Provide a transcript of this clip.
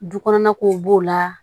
Du kɔnɔna kow b'o la